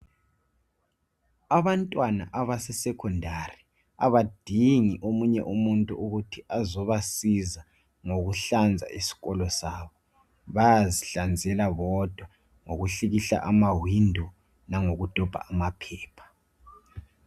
Abantwana abase secondary abadingi omunye umuntu ukuthi azobasiza ngokuhlanza isikolo sabo bayazihlanzela bona bodwa ngokuhlikihla amafasiteli langoku dobha amaphepha.